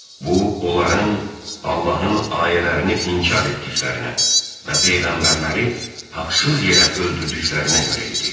Bu onların Allahın ayələrini inkar etdiklərinə və peyğəmbərləri haqsız yerə öldürdüklərinə görə idi.